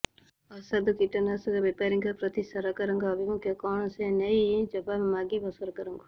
ଅସାଧୁ କୀଟନାଶକ ବେପାରୀଙ୍କ ପ୍ରତି ସରକାରଙ୍କ ଆଭିମୁଖ୍ୟ କଣ ସେ ନେଇ ଜବାବ ମାଗିବ ସରକାରଙ୍କୁ